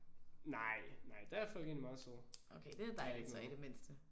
Nej. Nej der er folk egentlig meget søde. De er lidt med